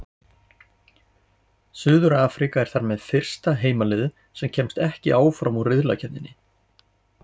Suður-Afríka er þar með fyrsta heimaliðið sem kemst ekki áfram úr riðlakeppni.